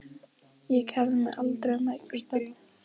Ég kærði mig aldrei um að eignast börn.